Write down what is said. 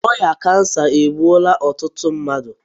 Ọrịa kansa egbuola ọtụtụ mmadụ